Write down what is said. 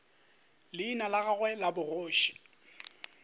leina la gagwe la bogoši